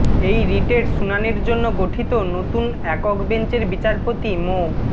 এই রিটের শুনানির জন্য গঠিত নতুন একক বেঞ্চের বিচারপতি মো